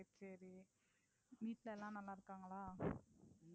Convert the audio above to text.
சரி. வீட்டில எல்லாம் நல்லா இருக்காங்களா?